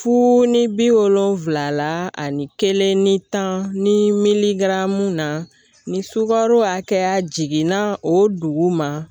Fu ni bi wolonwula la ani kelen ni tan ni miligaramu na ni sugaro hakɛya jiginna o dugu ma